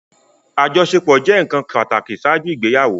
Ajọṣepọ jẹ nkan pataki ṣaaju igbeyawo